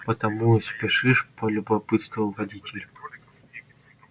потому и спешишь полюбопытствовал водитель